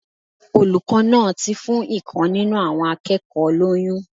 Olùkó náà ti fún ìkan nínú àwọn akékòó lóyún